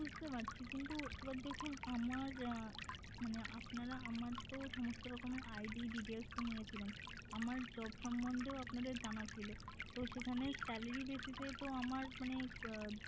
বুঝতে পারছি কিন্তু এবার দেখুন আমার মানে আপনারা আমার তো সমস্ত রকমের ID details তো নিয়েছিলেন আমার job সম্মন্ধে ও আপনাদের জানা ছিল তো সেখানে salary basis এ তো আমার মানে